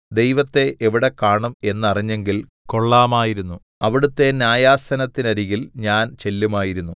ദൈവത്തെ എവിടെ കാണും എന്നറിഞ്ഞെങ്കിൽ കൊള്ളാമായിരുന്നു അവിടുത്തെ ന്യായാസനത്തിനരികിൽ ഞാൻ ചെല്ലുമായിരുന്നു